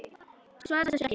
Svarar þessu ekki.